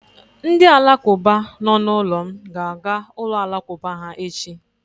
Ndị Alakụba nọ n'ụlọ m ga-aga ụlọ Alakụba ha echi.